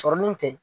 Sɔrɔ min tɛ